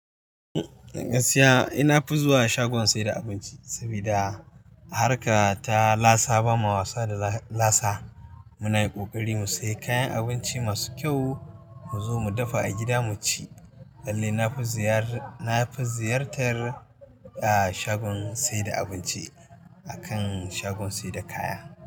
Gaskiya, eh na fi zuwa shagon saida abinci sabida harka ta lasa ba ma wasa da lasa. Muna yin ƙoƙari mu sayi kayan abinci masu kyau, mu zo mu dafa a gida mu ci. Lallai na fi ziyar-- na fi ziyartar, ah, shagon saida abinci akan shagon saida kaya.